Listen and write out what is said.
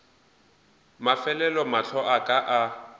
mafelelo mahlo a ka a